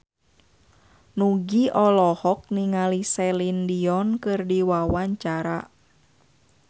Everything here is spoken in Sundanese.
Nugie olohok ningali Celine Dion keur diwawancara